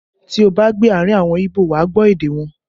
Tí ó bá gbé àárín àwọn Ibo, wà á gbọ́ èdè wọn